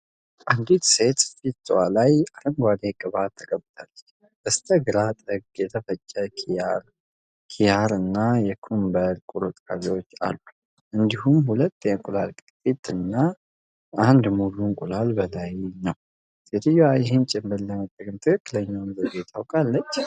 አንዲት ሴት ፊት ላይ አረንጓዴ ቅባት ቀብታለች። በስተግራ ጥግ የተፈጨ ኪያር እና የኩክምበር ቁርጥራጮች አሉ። እንዲሁም ሁለት የእንቁላል ቅርፊት እና አንድ ሙሉ እንቁላል በላይ ነው። ሴትየዋ ይህን ጭንብል ለመጠቀም ትክክለኛውን ዘዴ ታውቃለች?